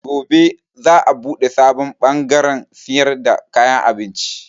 Gobe za a buɗe sabon bangarrn siyar da kayan abinci.